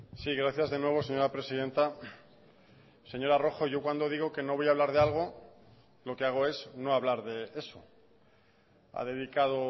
sí gracias de nuevo señora presidenta señora rojo yo cuando digo que no voy a hablar de algo lo que hago es no hablar de eso ha dedicado